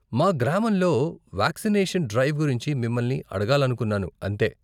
మా గ్రామంలో vaccination drive గురించి మిమ్మల్ని అడగాలనుకున్నాను అంతే.